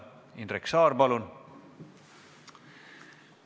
Indrek Saar, palun!